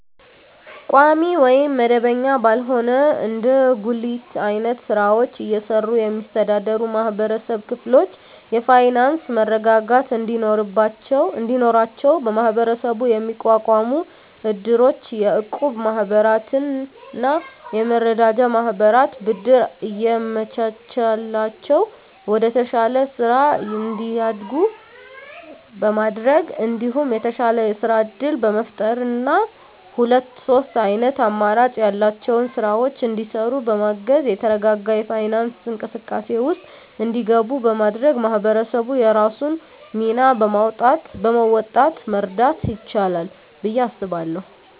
ቋሚ ወይም መደበኛ ባልሆነ እንደ ጉሊት አይነት ስራወችን እየሰሩ የሚስተዳደሩ የማህበረሰብ ክፍሎች የፋይናንሰ መረጋጋት እንዲኖራቸው በመሀበረሰቡ የሚቋቋሙ እድሮች፣ የእቁብ ማህበራትና የመረዳጃ ማህበራት ብድር እያመቻቸላቸው ወደተሻለ ስራ እንዲያድጉ በማድረግ እንዲሁም የተሻለ የስራ እድል በመፍጠርና ሁለት ሶስት አይነት አማራጭ ያላቸውን ስራወች እንዲሰሩ በማገዝ የተረጋጋ የፋይናንስ እንቅስቃሴ ውስጥ እንዲገቡ በማድረግ ማህበረሰቡ የራሱን ሚና በመወጣት መርዳት ይችላል ብየ አስባለሁ።